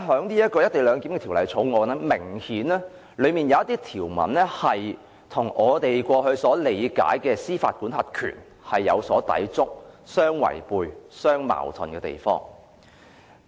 然而，《條例草案》明顯有一些條文與我們過去理解的司法管轄權有所抵觸、互相違背、互相矛盾。